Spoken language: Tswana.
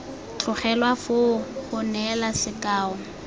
tlogelwa foo go neela sekao